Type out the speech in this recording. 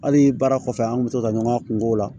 Hali baara kɔfɛ an kun bɛ to ka ɲɔgɔn kunko la